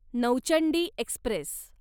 Nauchandi Express